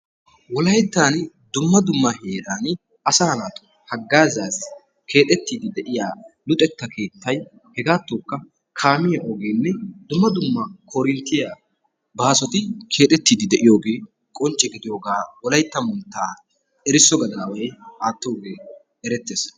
Wolaytan dumma dumma heeran asaa naatussi hagazassi keexxetide de'iyaa luxetta keettay, hegattokka kaamiya ogenne dumma dumma korintiyaa baasoti keexxeti de'iyooge qoncce gidiyooga Wolaytta Moottaa erisso gadaway aattooge erettees.